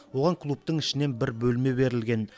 оған клубтың ішінен бір бөлме берілген